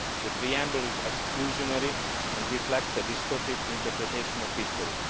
The preamble is exclusionary and reflects a distorted interpretation of history.